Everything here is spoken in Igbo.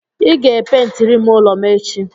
Ị ga-epentirim ụlọ m echi.